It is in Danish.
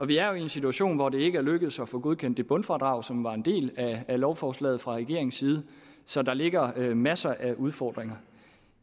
vi er jo i en situation hvor det ikke er lykkedes at få godkendt det bundfradrag som var en del af lovforslaget fra regeringens side så der ligger masser af udfordringer